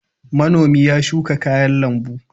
Manomi ya shuka kayan lambu.